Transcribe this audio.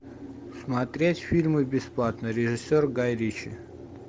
смотреть фильмы бесплатно режиссер гай ричи